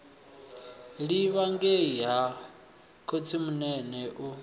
livha ngei ha khotsimunene u